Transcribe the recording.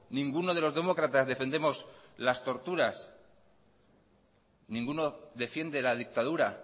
ninguno de los demócratas defendemos las torturas ninguno defiende la dictadura